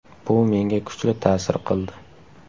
Bu menga kuchli ta’sir qildi.